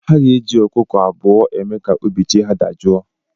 Ha ga-eji ọkụkọ abụọ eme ka obi chi ha dajọọ.